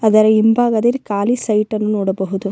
ಅದರ ಹಿಂಭಾಗದಲ್ಲಿ ಖಾಲಿ ಸೈಟ್ ಅನ್ನು ನೋಡಬಹುದು.